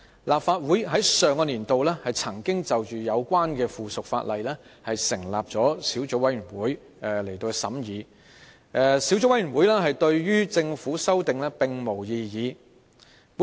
立法會在上個年度已就有關的附屬法例成立小組委員會，而小組委員會對於政府的修訂並無異議。